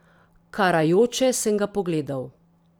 Karajoče sem ga pogledal.